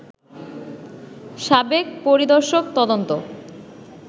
সাবেক পরিদর্শক তদন্ত